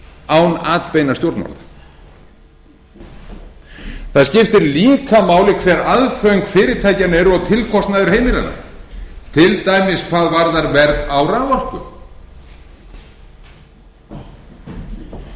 án atbeina stjórnvalda það skiptir líka máli hver aðföng fyrirtækjanna eru og tilkostnaður heimilanna til dæmis hvað varðar verð á raforku